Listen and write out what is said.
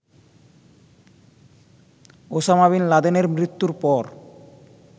Osama bin লাদেনের মৃত্যুর পর